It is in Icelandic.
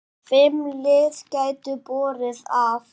Fimm lið gætu borið af.